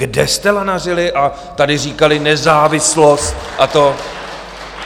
Kde jste lanařili a tady říkali, nezávislost a to...?